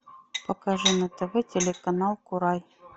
покажи на тв телеканал курай